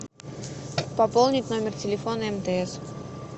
пополнить номер телефона мтс